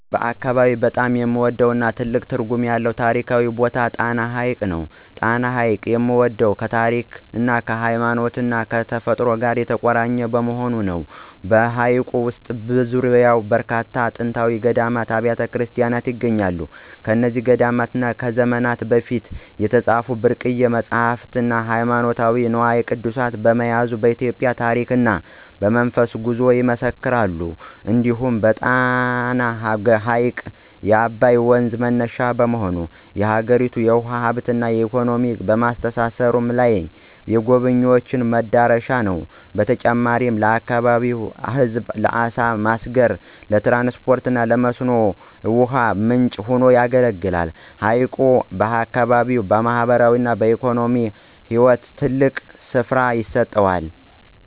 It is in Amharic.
በአካባቢዬ በጣም የምወደውና ትልቅ ትርጉም ያለው ታሪካዊ ቦታ ጣና ሐይቅ ነው። ጣና ሐይቅን የምወደው ከታሪክ፣ ከሃይማኖትና ከተፈጥሮ ጋር የተቆራኘ በመሆኑ ነው። በሐይቁ ውስጥና በዙሪያው በርካታ ጥንታዊ ገዳማትና አብያተ ክርስቲያናት ይገኛሉ። እነዚህ ገዳማት ከዘመናት በፊት የተጻፉ ብርቅዬ መጻሕፍትና ሃይማኖታዊ ንዋየ ቅድሳት በመያዝ የኢትዮጵያን ታሪክና መንፈሳዊ ጉዞ ይመሰክራሉ። እንዲሁም ጣና ሐይቅ የአባይ ወንዝ መነሻ በመሆኑ፣ የአገሪቱን የውሃ ሀብትና ኢኮኖሚ ከማስተሳሰሩም በላይ፣ የጎብኝዎች መዳረሻ ነው። በተጨማሪም ለአካባቢው ሕዝብ ለዓሣ ማስገር፣ ለትራንስፖርትና ለመስኖ ውሃ ምንጭ ሆኖ ያገለግላል። ሐይቁ ለአካባቢው ማኅበራዊና ኢኮኖሚያዊ ሕይወት ትልቅ ስፍራ ይሰጠዋል።